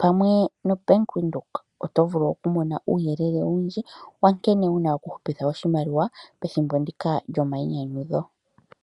pamwe no Bank Windhoek oto vulu oku mona uuyelele owundji, nkene wuna oku hupitha oshimaliwa pethimbo ndika lyomainyanyudho.